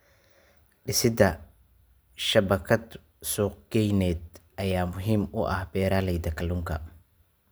Dhisida shabakad suuqgeyneed ayaa muhiim u ah beeralayda kalluunka.